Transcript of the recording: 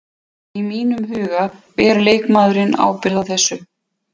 Í mínum huga ber leikmaðurinn ábyrgð á þessu.